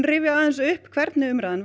rifja aðeins upp hvernig umræðan